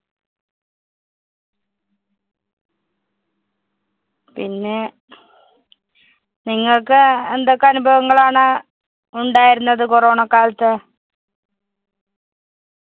പിന്നെ നിങ്ങള്‍ക്ക് എന്തൊക്കെ അനുഭവങ്ങളാണ് ഉണ്ടായിരുന്നത് corona ക്കാലത്ത്?